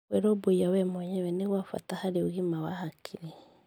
Kwĩrũmbũiya we mwenyewe nĩ gwa bata harĩ ũgima wa hakiri.